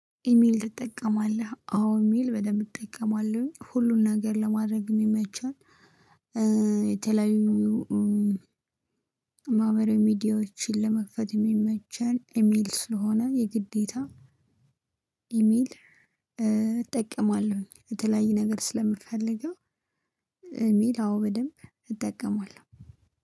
ኢሜል ትጠቀማለህ አዎ ኢሜል በደንብ እጠቀማለሁኝ ሁሉን ነገር ለማድረግ የሚመቸን የተለያዩ ማህበራዊ ሚዲያዎችን ለመክፈት የሚመቸን ኢሜል ስለሆነ የግዴታ ኢሜል እጠቀማለሁኝ የተለያየ ነገር ስለምፈልገው። ኢሜል አዎ በደንብ እጠቀማለሁ።